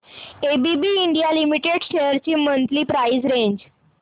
ABB India limited shares ची monthly price range